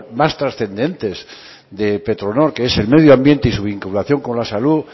más trascendentes de petronor que es el medio ambiente y su vinculación con la salud